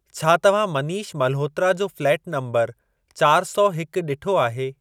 छा तव्हां मनीष मल्होत्रा जो फ़्लैट नंबर चारि सौ हिक ॾिठो आहे?